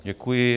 Děkuji.